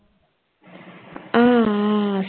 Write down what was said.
உம்